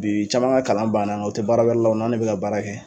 Bii caman ŋa kalan banna ŋa u te baara wɛrɛ la u n'an' de bɛ ka baara kɛ